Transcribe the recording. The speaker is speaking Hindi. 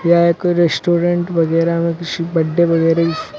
ये एक रेस्टोरेंट वगैरा में किसी बर्थडे वगैरा--